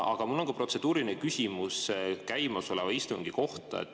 Aga mul on ka protseduuriline küsimus käimasoleva istungi kohta.